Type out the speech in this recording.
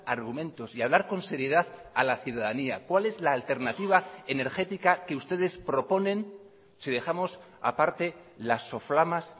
argumentos y hablar con seriedad a la ciudadanía cuál es la alternativa energética que ustedes proponen si dejamos aparte las soflamas